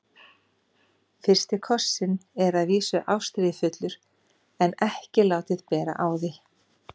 FYRSTI KOSSINN er að vísu ástríðufullur en ekki látið bera á því.